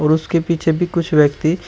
उसके पीछे भी कुछ व्यक्ति--